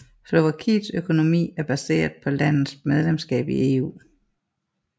Slovakiets økonomi er baseret på landets medlemskab i EU